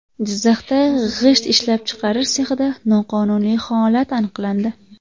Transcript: Jizzaxda g‘isht ishlab chiqarish sexida noqonuniy holat aniqlandi.